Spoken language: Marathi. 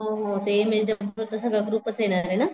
हो हो ते चा सगळं ग्रुपचं येणारे ना.